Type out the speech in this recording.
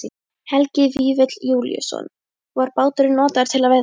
Helgi Vífill Júlíusson: Var báturinn notaður til að veiða fisk?